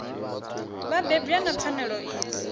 vha bebwa na pfanelo idzi